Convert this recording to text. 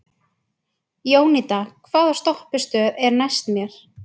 Jónída, hvaða stoppistöð er næst mér?